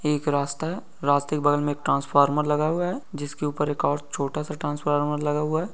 एक रास्ता है । रास्ते के बगल में एक ट्रांस्फोर्म्र लगा हुआ है जिसके ऊपर एक और छोटा सा ट्रांस्फोर्म्र लगा हुआ है ।